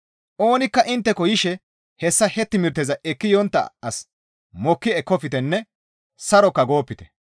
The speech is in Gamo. Oonikka intteko yishe hessa he timirteza ekki yontta as mokki ekkoftenne saroka goopite.